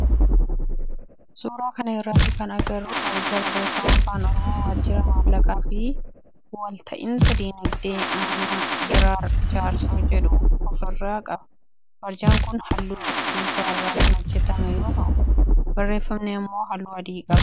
Suuraa kana irratti kan agarru barjaa barreeffama afaan oromoo waajjira maallaqaa fi walta'iinsa diinagdee aanaa giraar jaarsoo jedhu of irraa qaba. Barjaan kun halluu cuqulisa irraa kan hojjetame yoo ta'u barreeffamni immoo halluu adii qaba.